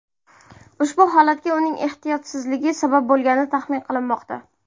Ushbu holatga uning ehtiyotsizligi sabab bo‘lgani taxmin qilinmoqda.